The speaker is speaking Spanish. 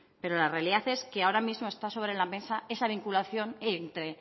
pero la realidad es que ahora mismo está sobre la mesa esa vinculación entre